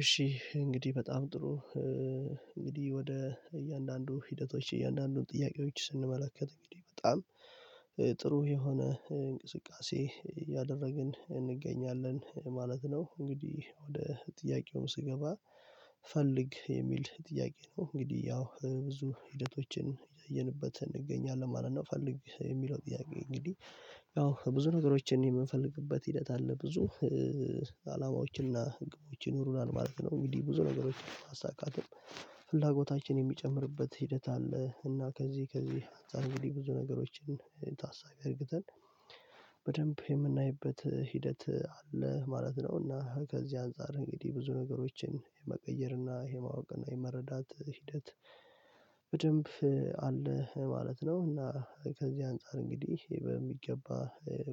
እሺ እንግዲህ በጣም ጥሩ እንግዲህ ወደ እያንዳንዱ ሂደቶች እያንዳንዱን ጥያቄዎች ስንመለከት እንግዲህ በጣም ጥሩ የሆነ እንቅስቃሴ እያደረግን እንገኛለን ማለት ነው። እንግዲህ ወደ ጥያቄው ስገባ ፈልግ የሚል ጥያቄ ነው እንግዲህ ያው ብዙ ሂደቶችን ያየንበት እንገኛለን ማለት ነው። ፈልግ የሚለው ጥያቄ እንግዲህ ያው ብዙ ነገሮችን የምንፈልግበት ሂደት አለ። ብዙ አላማዎችን እና ህግዎችን ይኖሩናል ማለት ነው። እንግዲህ ብዙ ነገሮችን ማሳካትም ፍላጎታችን የሚጨምርበት ሂደት አለ። እና ከዚህ ከዚህ አንግዲ ብዙ ነገሮችን ታሳቢ እርግተን፤ በደንብ የምናይበት ሂደት አለ ማለት ነው። እና ከዚህ አንፃር እንግዲህ ብዙ ነገሮችን የመቀየር እና የማወቅ እና የመረዳት ሂደት በደንብ አለ ማለት ነው እና ከዚህ አንፃር እንግዲህ በሚገባ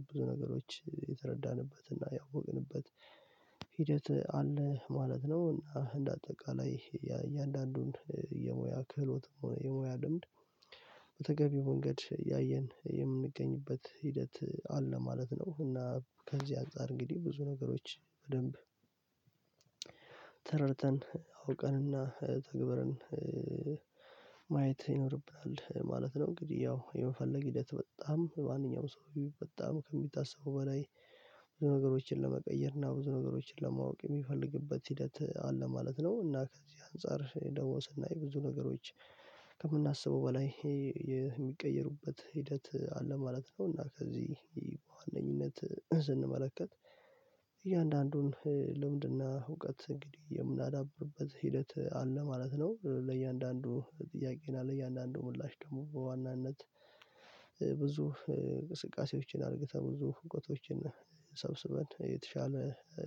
ብዙ ነገሮች የተረዳንበትና ያወቅንበት ሂደት አለ ማለት ነው። እና እንደ አጠቃላይ የእያንዳንዱን የሙያ ክህሎት የሙያ ልምድ በተገቢው መንገድ ያየን የምንገኝበት ሂደት አለ ማለት ነው። እና ከዚህ አንፃር እንግዲህ ብዙ ነገሮች በደንብ ተረድተን አውቀንና ተግበርን ማየት ይኖርብናል ማለት ነው። እንግዲህ ያው የምፈልግ ሂደት በጣም ማንኛውም ሰው በጣም ከሚታሰቡ በላይ ብዙ ነገሮችን ለመቀየር እና ብዙ ነገሮችን ለማወቅ የሚፈልግበት ሂደት አለ ማለት ነው። እና ከዚህ አንፃር ደግሞ ስናይ ብዙ ነገሮች ከምናስበው በላይ የሚቀየሩበት ሂደት አለ ማለት ነው። እና ከዚህ በዋነኝነት ስንመለከት እያንዳንዱን ልምድና እውቀት እንግዲህ የምናዳብርበት ሂደት አለ ማለት ነው። ለእያንዳንዱ ጥያቄና ለእያንዳንዱ ምላሽ ደግሞ በዋናነት ብዙ እንቅስቃሴዎችን አርግተን ተሞልቶ ህግጦችን ሰብስበን የተሻለ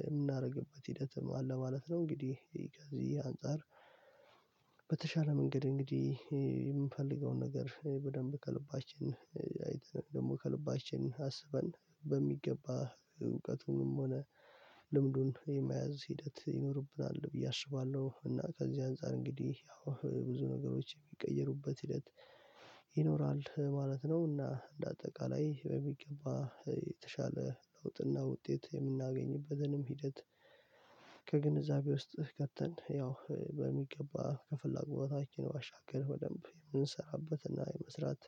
የምናደርግበት ሂደትም አለ ማለት ነው። እንግዲህ ከዚህ አንፃር በተሻለ መንገድ እንግዲህ የምፈልገውን ነገር በደንብ ከልባችን አይተን ደግሞ ከልባችን አስበን በሚገባ እውቀቱንም ሆነ ልምዱን የመያዝ ሂደት ይኖርብናል ብዬ አስባለሁ። እና ከዚህ አንፃር እንግዲህ ያው ብዙ ነገሮች የሚቀየሩበት ሂደት ይኖራል ማለት ነው። እና እንደ አጠቃላይ በሚገባ የተሻለ ለውጥና ውጤት የምናገኝበትንም ሂደት ከግንዛቤ ውስጥ ከተን ያው በሚገባ ከፍላጎታችን ዋሻገር ወደም የምንሰራበትና የመስራት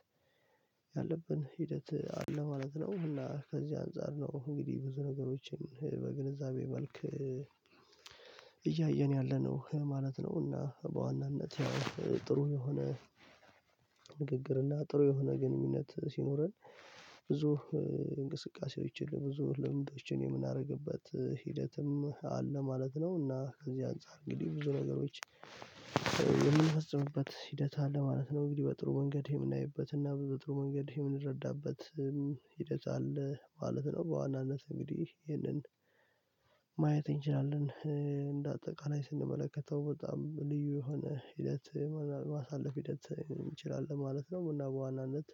ያለብን ሂደት አለ ማለት ነው። አሁን ከዚህ አንፃር ነው እንግዲህ ብዙ ነገሮችን በግንዛቤ መልክ እያየን ያለነው ማለት ነው። እና በዋናነት ጥሩ የሆነ ንግግር እና ጥሩ የሆነ ግንኙነት ሲኖረን ብዙ እንቅስቃሴዎችን ብዙ ልምዶችን የምናደርግበት ሂደትም አለ ማለት ነው። እና ከዚህ አንፃር እንግዲህ ብዙ ነገሮች የሚፈጽምበት ሂደት አለ ማለት ነው እንግዲህ በጥሩ መንገድ የምናይበት እና በጥሩ መንገድ የምንረዳበት ሂደት አለ ማለት ነው። በዋናነት እንግዲህ ይሄንን ማየት እንችላለን እንደ አጠቃላይ ስንመለከተው በጣም ልዩ የሆነ ሂደት ማሳለፍ ሂደት እንችላለን ማለት ነው። እና በዋናነት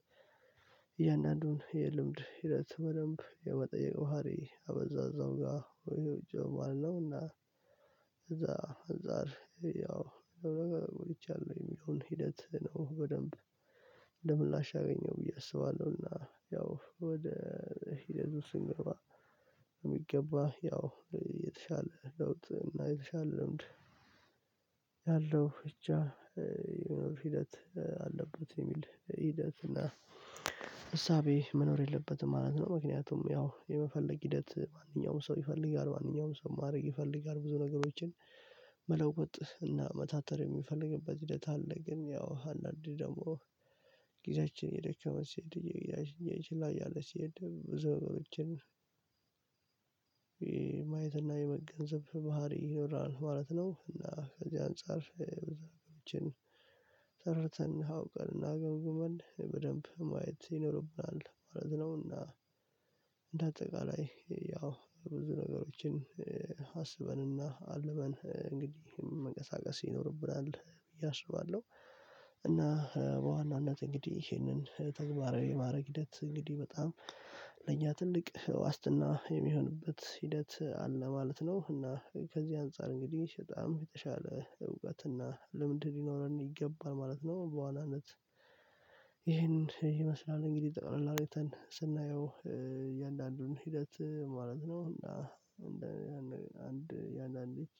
እያንዳንዱን የልምድ ሂደት በደንብ የመጠየቅ ባህሪ አበዛዛው ጋር ይሄው ጭምር ነውና እዛ አንዛር ያው ነገር ቆይቻለሁ የሚለውን ሂደት ነው በደንብ እንደ ምላሽ አገኘው ብዬ አስባለሁና። ያው ወደ ሂደድ ውስጥ ስንገባ የሚገባ ያው የተሻለ ለውጥ እና የተሻለ ለምድ ያለው ብቻ ሂደት አለበት የሚል ሂደት እና እሳቤ መኖር የለበትም ማለት ነው ምክንያቱም ያው የመፈለግ ሂደት ማንኛውም ሰው ይፈልጋል ማንኛውም ሰው ማድረግ ይፈልጋል ብዙ ነገሮችን መለወጥ እና መታተር የሚፈልግበት ሂደት አለ ግን ያው አንዳንድ ደግሞ ጊዜያችን የደከመ ሲሄድ የጊዜያችን ላይ ያለ ሲሄድ ብዙ ነገሮችን ይሄ የመገንዘብ ባህሪ ይኖራል ማለት ነው። እና ከዚህ አንፃር በዛሬዎችን ተረድተን አውቀን እናገምግመን በደንብ ማየት ይኖርብናል ማለት ነውና። እንደ አጠቃላይ ያው ብዙ ነገሮችን አስበንና አልበን እንግዲህ መንቀሳቀስ ይኖርብናል ብዬ አስባለሁ። እና በዋናነት እንግዲህ ይሄንን ተግባራዊ የማድረግ ሂደት እንግዲህ በጣም ለእኛ ትልቅ ዋስትና የሚሆንበት ሂደት አለ ማለት ነው። እና ከዚህ አንፃር እንግዲህ በጣም የተሻለ እውቀት እና ለምንድን ሊኖረን ይገባል ማለት ነው። በዋናነት ይሄንን ይመስላል እንግዲህ ጠቅላል አርግተን ስናየው እያንዳንዱን ሂደት ማለት ነው። እና አንድ የአንዳንድ